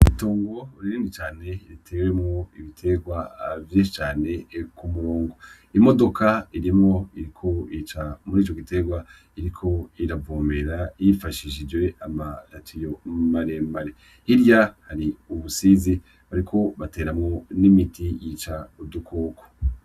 Itongo rinini cane ritewemwo ibitegwa vyinshi cane kumurongo. Imodoka irimwo iriko ica murico gitegwa iriko iravomera yifashishije ama tiyo maremare , hirya hari ubusizi bariko bateramwo n'imiti yica udukoko .